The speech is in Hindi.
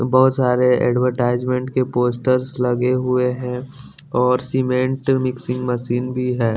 बहुत सारे एडवर्टाइजमेंट के पोस्टर्स लगे हुए हैं और सीमेंट मिक्सिंग मशीन भी है।